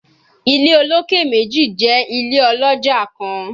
Ile oloke meji jẹ ile oloja kan